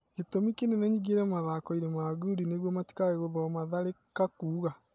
Gĩtũmi kĩnene nyingĩre mathakoinĩ ma ngundi nĩguo matikage gũthoma Tharĩka kuga